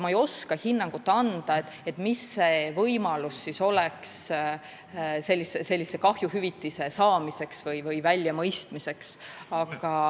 Ma ei oska anda hinnangut, milline oleks võimalus sellist kahjuhüvitist saada või välja mõista.